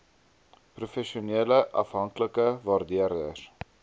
professionele onafhanklike waardeerders